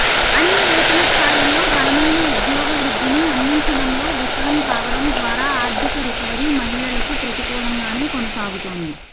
అన్ని వేతన స్థాయిల్లో బలమైన ఉద్యోగ వృద్ధిని అందించడంలో విఫలం కావడం ద్వారా ఆర్థిక రికవరీ మహిళలకు ప్రతికూలంగానే కొనసాగుతోంది